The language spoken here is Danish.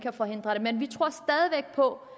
må